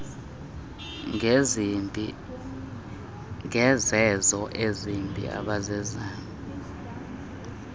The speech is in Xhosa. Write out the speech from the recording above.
ngezenzo ezibi abazenzayo